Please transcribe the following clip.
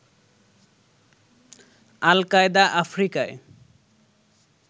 আল Qaeda আফ্রিকায়